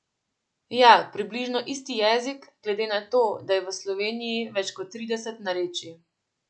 Ja, približno isti jezik, glede na to, da je v Sloveniji več kot trideset narečij.